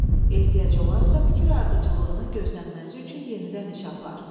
Ehtiyac olarsa fikir ardıcıllığının gözlənməsi üçün yenidən iş apar.